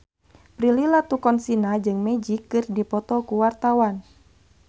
Prilly Latuconsina jeung Magic keur dipoto ku wartawan